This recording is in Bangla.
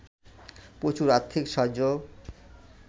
প্রচুর আর্থিক সাহায্যও